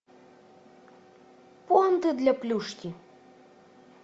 пуанты для плюшки